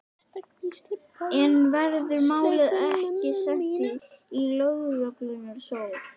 En verður málið ekki sent í lögreglurannsókn?